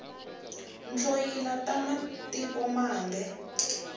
tloyila ta matiko mambe